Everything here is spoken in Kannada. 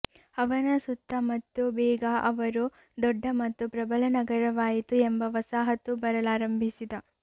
ಅವನ ಸುತ್ತ ಮತ್ತು ಬೇಗ ಅವರು ದೊಡ್ಡ ಮತ್ತು ಪ್ರಬಲ ನಗರವಾಯಿತು ಎಂಬ ವಸಾಹತು ಬರಲಾರಂಭಿಸಿದ